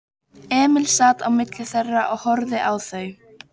Emil sat á milli þeirra og horfði á þau.